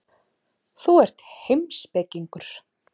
Þú ert heimspekingur.